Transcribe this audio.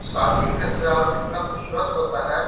सादी का सजावट इतना खूबसूरत होता है।